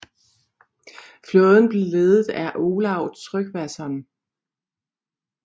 Flåden blev ledet af Olav Tryggvason